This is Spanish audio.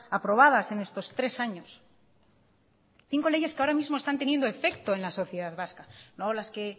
aprobadas en estos tres años cinco leyes que ahora mismo están teniendo efecto en la sociedad vasca no las que